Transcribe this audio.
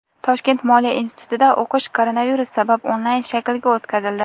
Toshkent moliya institutida o‘qish koronavirus sabab onlayn shaklga o‘tkazildi.